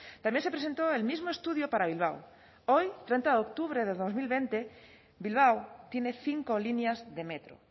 también se presentó el mismo estudio para bilbao hoy treinta de octubre de dos mil veinte bilbao tiene cinco líneas de metro